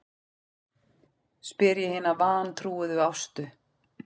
spyr ég hina vantrúuðu Ástu.